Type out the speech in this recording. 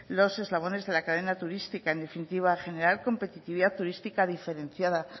los eslabones de la cadena turística en definitiva generar competitividad turística diferenciada